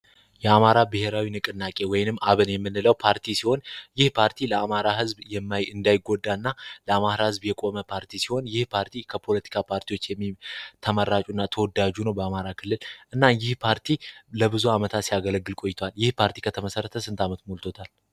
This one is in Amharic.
የአማራ ብሔራዊ ንቅናቄ ወይም አብን የምንለው ፓርቲ ሲሆን ይህ ፓርቲ ለአማራ ህዝብ እንዳይጎዳ እና የአማራ ዝብ የቆመ ፓርቲ ሲሆን የፖርቲ ከፖለቲካ ፓርቲዎች ተማራጁና ተወዳጁ ነው በአማራ ክልል እና ይህ ፓርቲ ለብዙ ዓመታት ያገለግል ቆይ ፓርቲ ከተመሠረተ ስንት አመት ሙሉታል